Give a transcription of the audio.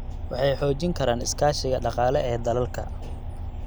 Waxay xoojin karaan iskaashiga dhaqaale ee dalalka.